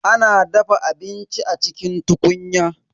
A na dafa abinci a cikin tukunya.